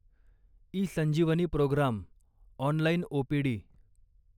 eSanjeevani programme online OPD